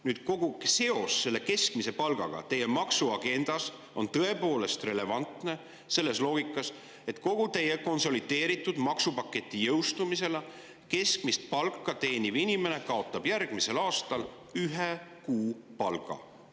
Nüüd, see seos keskmise palgaga teie maksuagendas on tõepoolest relevantne selles loogikas, et kogu teie konsolideeritud maksupaketi jõustumisega kaotab keskmist palka teeniv inimene järgmisel aastal ühe kuupalga.